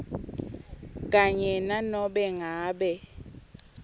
kanye nanobe ngabe